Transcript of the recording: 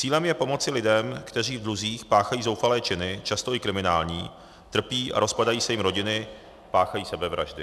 Cílem je pomoci lidem, kteří v dluzích páchají zoufalé činy, často i kriminální, trpí a rozpadají se jim rodiny, páchají sebevraždy.